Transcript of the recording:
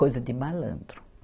Coisa de malandro.